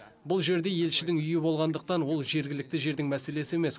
бұл жерде елшінің үйі болғандықтан ол жергілікті жердің мәселесі емес